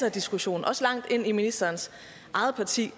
af diskussion også langt ind i ministerens eget parti